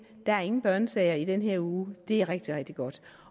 der er ingen børnesager i den her uge det er rigtig rigtig godt